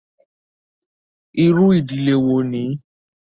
Irú ìdílé wo ni?